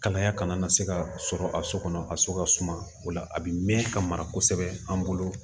Kalaya kana na se ka sɔrɔ a so kɔnɔ a so ka suma o la a bi mɛn ka mara kosɛbɛ an bolo